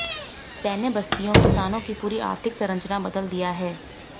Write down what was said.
सैन्य बस्तियों किसानों की पूरी आर्थिक संरचना बदल दिया है